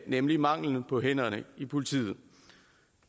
nemlig manglen på hænder i politiet